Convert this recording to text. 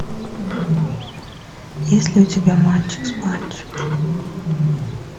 есть ли у тебя мальчик с пальчик